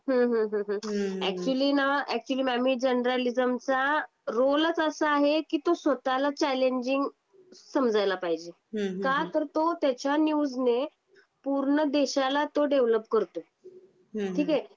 हो हो हो हो ऍक्च्युली ना ऍक्च्युली मामी जर्नलिझमचा रोलचं असा आहे कि तो स्वतः ला चॅलेंजिंग समजायला पाहिजे. का तर तो त्याच्या न्यूजने पूर्ण देशाला तो डेव्हलप करतो. ठीक आहे.